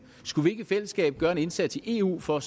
skulle vi ikke i fællesskab gøre en indsats i eu for